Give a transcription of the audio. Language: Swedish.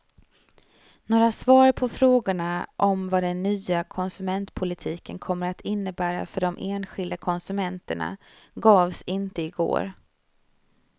Några svar på frågorna om vad den nya konsumentpolitiken kommer att innebära för de enskilda konsumenterna gavs inte igår.